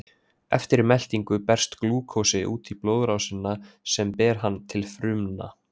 Eftir meltingu berst glúkósi út í blóðrásina sem ber hann til frumna.